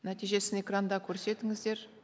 нәтижесін экранда көрсетіңіздер